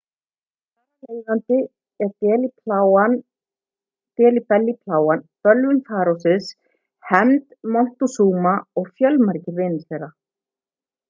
þar af leiðandi delhi belly plágan bölvun farósins hefnd montezuma og fjölmargir vinir þeirra